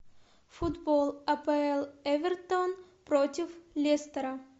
футбол апл эвертон против лестера